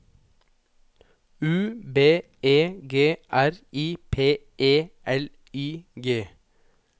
U B E G R I P E L I G